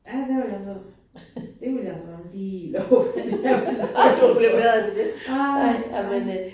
Ja, der vil jeg så. Det vil jeg ramme lige love, at jeg ville gøre. Nej nej